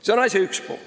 See on asja üks pool.